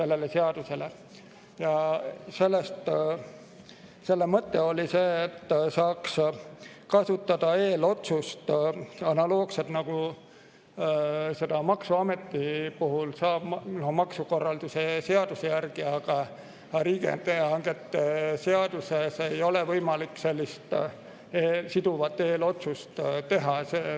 Mõte oli see, et saaks eelotsust kasutada analoogselt, nagu seda maksuameti puhul saab teha maksukorralduse seaduse järgi, riigihangete seaduse järgi ei ole aga võimalik sellist siduvat eelotsust teha.